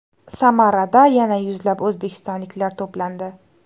Samarada yana yuzlab o‘zbekistonliklar to‘plandi.